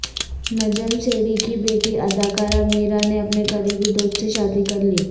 نجم سیٹھی کی بیٹی اداکارہ میرا نے اپنے قریبی دوست سے شادی کر لی